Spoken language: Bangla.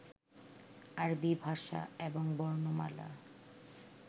আরবী ভাষা এবং বর্ণমালা